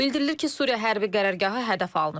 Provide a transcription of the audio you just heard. Bildirilir ki, Suriya hərbi qərargahı hədəf alınıb.